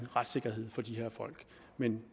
retssikkerhed for de her folk men